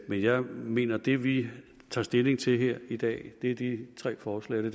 men jeg mener at det vi tager stilling til her i dag er de tre forslag